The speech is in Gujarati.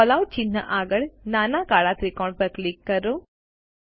કેલઆઉટ ચિહ્ન આગળ નાના કાળા ત્રિકોણ પર ક્લિક કરો